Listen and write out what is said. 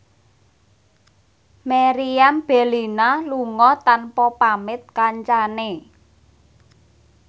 Meriam Bellina lunga tanpa pamit kancane